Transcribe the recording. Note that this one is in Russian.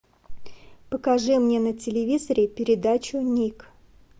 покажи мне на телевизоре передачу ник